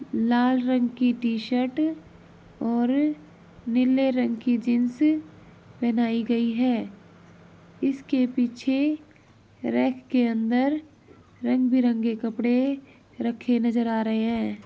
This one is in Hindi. लाल रंग की टी शर्ट और नीले रंग की जीन्स पहनाई गयी है। इसके पीछे रैक के अंदर रंग बिरंगे कपड़े रखे नजर आ रहे हैं।